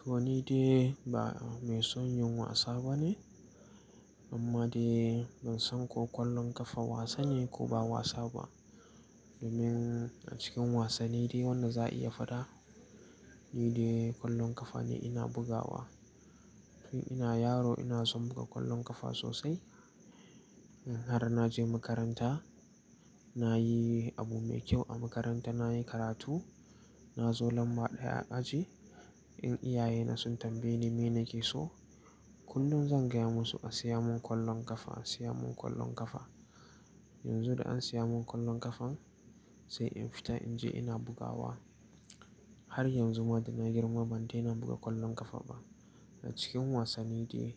To ni dai ba mai son yin wasa bane. Amma dai ban san ko kwallon kafa wasa ne ko ba wasa ba. Domin a cikin wasanni dai wanda za a iya faɗa, ni dai kwallon kafa ne ina bugawa. Tun ina yaro ina son buga kwallon kafa sosai. In har naje makaranta, nayi abu mai kyau a makaranta, nayi karatu, na zo lamba ɗaya a aji, in iyayena sun tambaye ni mene ke so, kullum zan gaya musu a siya mun kwallon kafa, a siya mun kwallon kafa. Yanzu da an siya mun kwallon ƙafan, sai in fita in je ina bugawa. Har yanzu ma da na girma ban daina buga kwallon ƙafa ba. A cikin wasanni dai